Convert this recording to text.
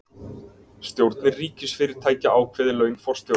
Stjórnir ríkisfyrirtækja ákveði laun forstjóra